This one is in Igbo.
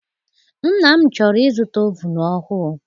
Nna m chọrọ I zụta ovunu ọhụụ.